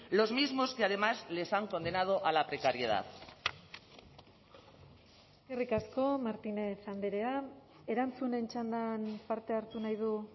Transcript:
los mismos que además les han condenado a la precariedad eskerrik asko martínez andrea erantzunen txandan parte hartu nahi du